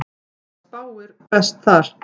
Það spáir best þar.